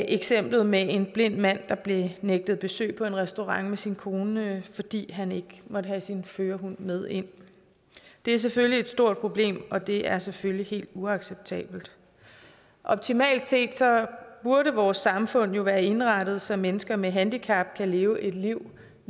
eksemplet med en blind mand der blev nægtet besøg på en restaurant med sin kone fordi han ikke måtte have sin førerhund med ind det er selvfølgelig et stort problem og det er selvfølgelig helt uacceptabelt optimalt set burde vores samfund jo være indrettet så mennesker med handicap kan leve et liv